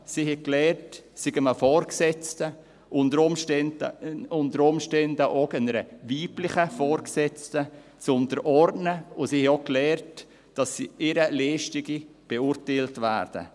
Sie haben gelernt, sich einem Vorgesetzten, unter Umständen auch einer weiblichen Vorgesetzten, unterzuordnen, und sie haben auch gelernt, dass ihre Leistungen beurteilt werden.